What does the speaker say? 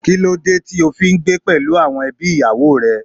Kí ló dé tí ó fi ń gbé pẹ̀lú àwọn ẹbí ìyàwó rẹ.